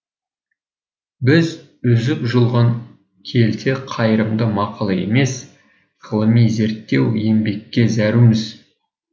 біз үзіп жұлған келте қайырымды мақала емес ғылыми зеттеу еңбекке зәруміз